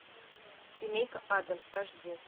семейка адамс аш ди